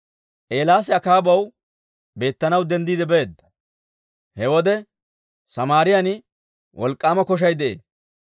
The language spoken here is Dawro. Eelaasi Akaabaw beettanaw denddiide beedda. He wode Samaariyaan wolk'k'aama koshay de'ee.